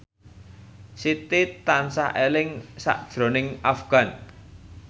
Siti tansah eling sakjroning Afgan